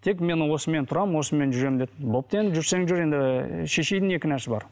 тек мен осымен тұрамын осымен жүремін дейді бопты енді жүрсең жүр енді шешенің не кінәсі бар